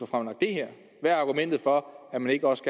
fremlagt det her hvad er argumentet for at man ikke også